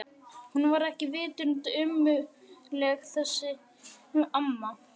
Hún var ekki vitund ömmuleg þessi amma.